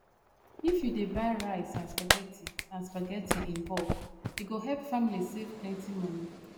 if you dey buy rice and spaghetti and spaghetti in bulk e go help family save plenty money